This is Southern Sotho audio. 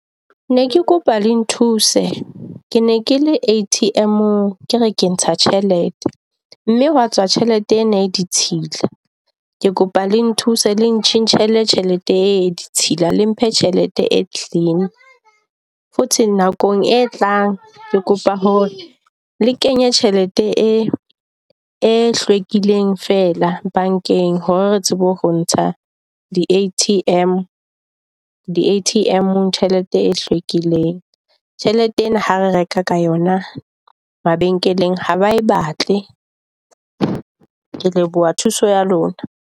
Ne ke kopa le nthuse, ke ne ke le A_T_M-ong ke re ke ntsha tjhelete mme hwa tswa tjhelete ena e ditshila. Ke kopa le nthuse le ntjhentjhetje tjhelete e ditshila, le mphe tjhelete e clean. Futhi nakong e tlang, ke kopa hore le kenye tjhelete e e hlwekileng fela bankeng hore re tsebe ho ntsha di A_T_M, di A_T_M-ng tjhelete e hlwekileng. Tjhelete ena ha re reka ka yona mabenkeleng ha ba e batle. Ke leboha thuso ya lona.